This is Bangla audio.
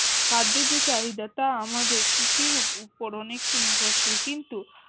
খাদ্যের যে চাহিদা তা আমাদের কৃষির উপর অনেকটা নির্ভরশীল কিন্ত